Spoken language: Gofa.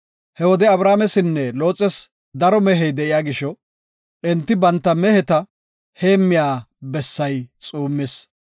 He wode Abramesinne Looxes daro mehey de7iya gisho enti banta meheta heemmiya bessay xuummis.